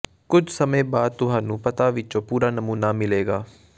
ਕੁਝ ਸਮੇਂ ਬਾਅਦ ਤੁਹਾਨੂੰ ਪੱਤਾ ਵਿਚੋਂ ਪੂਰਾ ਨਮੂਨਾ ਮਿਲੇਗਾ